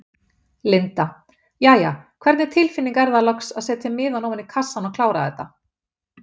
Linda: Jæja, hvernig tilfinning er að loks setja miðann ofan í kassann og klára þetta?